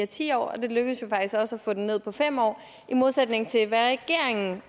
ti år og det lykkedes jo faktisk også at få den ned på fem år i modsætning til hvad regeringen